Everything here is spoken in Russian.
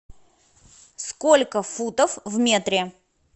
сколько футов в метре